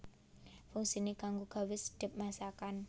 Fungsiné kanggo gawé sedhep masakan